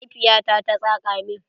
Mahaifiya ta ta saƙa min.